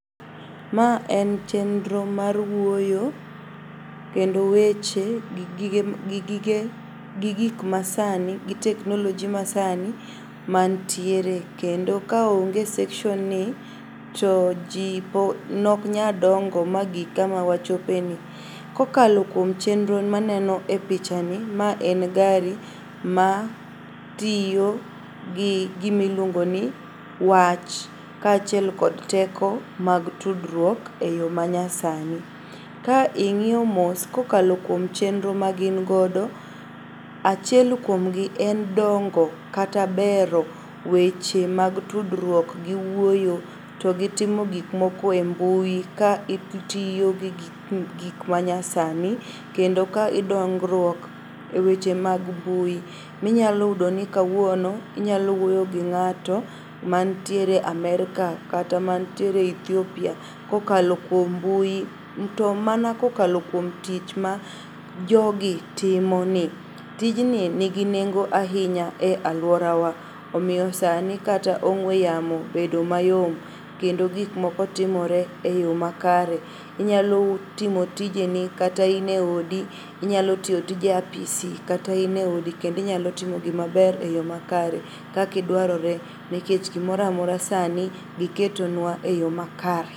Ma en chenro mar wuoyo kendo weche gi gik masani gi technology masani mantiere, kendo ka onge section ni, to ji noknyal dongo magik kama wachope ni. Kokalo kuom chenro maneno e pichani, ma en gari ma tiyo gi gimiluongo ni wach, ka achiel kod teko mag tudruok e yo manyasani. Ka ing'iyo mos kokalo kuom chenro ma gin godo, achiel kuomgi en dongo kata bero weche mag tudruok gi wuoyo to gi timo gikmoko e mbui ka itiyo gi gik manyasani kendo ka dongruok weche mag mbui. Minyalo yudo ni kawuono inyalo wuoyo gi ng'ato mantiere Amerka kata mantiere Ethiopia kokalo kuom mbui. To mana kokalo kuom tich ma jogi timoni, tijni nigi nengo ahinya e aluora wa. Omiyo sani kata ong'we yamo bedo mayom kendo gikmoko timore e yo makare. Inyalo timo tijeni kata ine odi, inyalo tiyo tije apisi kata ine odi kendo inyalo timo gima maber e yo makare kaka dwarore nikech gimoramora sani giketo nwa e yo makare.